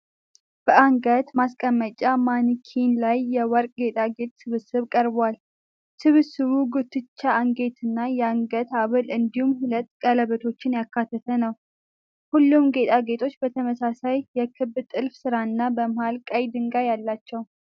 በአንገት ማስቀመጫ ማኒኪን ላይ የወርቅ ጌጣጌጥ ስብስብ ቀርቧል። ስብስቡ ጉትቻ፣ አንገትጌና የአንገት ሐብል እንዲሁም ሁለት ቀለበቶችን ያካተተ ነው። ሁሉም ጌጣጌጦች ተመሳሳይ የክብ ጥልፍ ሥራና በመሀል ቀይ ድንጋይ አላቸው።